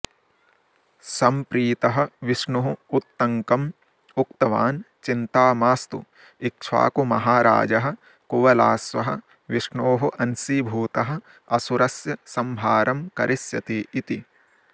संप्रीतः विष्णुः उत्तङ्कं उक्तवान् चिञ्ता मास्तु इक्ष्वाकुमहाराजः कुवलाश्वः विष्णोः अंशीभूतः असुरस्य संहारं करिष्यति इति